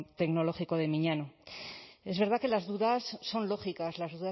tecnológico de miñano es verdad que las dudas son lógicas las